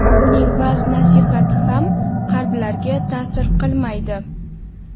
uning va’z-nasihati ham qalblarga ta’sir qilmaydi.